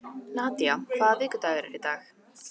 Nadía, hvaða vikudagur er í dag?